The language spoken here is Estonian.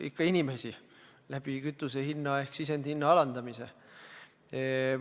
Ikka inimesi – kütuse hinna ehk sisendi hinna alandamise abil.